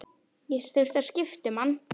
Ég þurfti að skipta um hann.